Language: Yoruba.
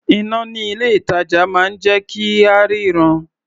Iná ní ilé-ìtàjà máa ń jẹ́ kí a ríran.